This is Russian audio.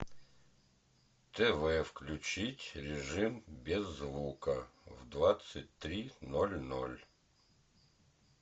тв включить режим без звука в двадцать три ноль ноль